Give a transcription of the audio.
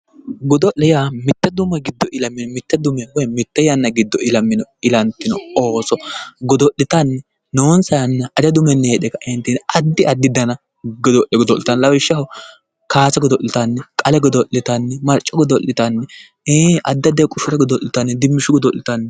Godo'lete yaa mitte dume giddo ilamino woy mitte yanna mereero ilantino ooso godo'litanni noonsa yanna ledo heedhee ka'eentinni hattono addi addi dani godo'le godo'litanno lawishshaho kaase godo'litanno qale godo'litanni